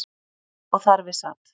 Og þar við sat.